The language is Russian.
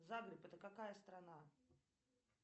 загреб это какая страна